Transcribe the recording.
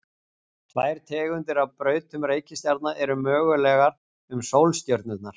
Tvær tegundir af brautum reikistjarna eru mögulegar um sólstjörnurnar.